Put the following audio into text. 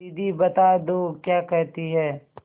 दीदी बता दो क्या कहती हैं